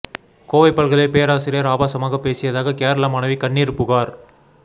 கோவை பல்கலை பேராசிரியர் ஆபாசமாக பேசியதாக கேரள மாணவி கண்ணீர் புகார்